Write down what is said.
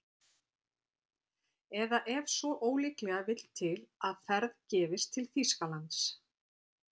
Eða ef svo ólíklega vill til að ferð gefist til Þýskalands